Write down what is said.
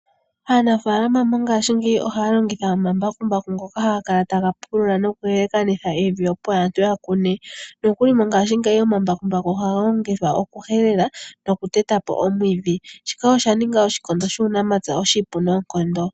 Aanafaalama mongashingeyi ohaya longitha omashina ngoka haga kala taga pulula noku lalakanitha evi opo aantu ya kune. Nokuli mongaashingeyi omambakumbaku ohaga longithwa oku helela noku tetapo omwiidhi .Shika oshaninga oshikondo shuunamapya oshipu noonkondo.